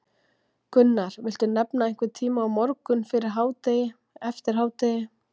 Gunnar: Viltu nefna einhvern tíma, á morgun, fyrir hádegi, eftir hádegi?